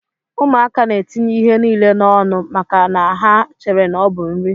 Ụmụaka na etinye ihe nile na ọnụ maka na ha chere na ọbu nri.